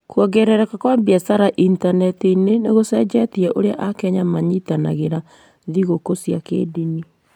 Kuongerereka kwa biacara Intaneti-inĩ nĩ gũcenjetie ũrĩa Akenya manyitanagĩra thigũkũ cia kĩndini.